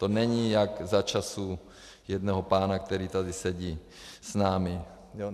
To není jak za časů jednoho pána, který tady sedí s námi.